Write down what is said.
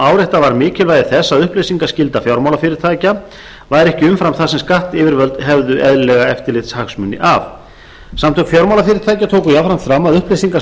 áréttað var mikilvægi þess að upplýsingaskylda fjármálafyrirtækja væri ekki umfram það sem skattyfirvöld hefðu eðlilega eftirlitshagsmuni af samtök fjármálafyrirtækja tóku jafnframt fram að upplýsingar